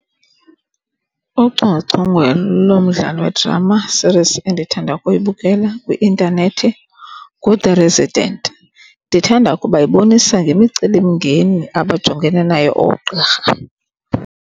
Ucocongwe lomdlalo wedrama series endithanda ukuyibukela kwi-intanethi nguThe Resident. Ndithanda ukuba ibonisa ngemicelimngeni abajongene nayo oogqirha.